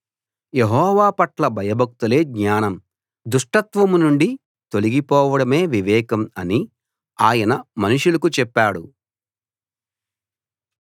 యెహోవా పట్ల భయభక్తులే జ్ఞానం దుష్టత్వం నుండి తొలగిపోవడమే వివేకం అని ఆయన మనుషులకు చెప్పాడు